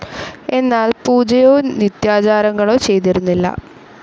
എന്നാൽ പൂജയോ നിത്യാചാരങ്ങളോ ചെയ്തിരുന്നില്ല.